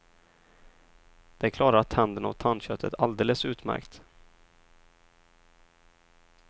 Det klarar tänderna och tandköttet alldeles utmärkt.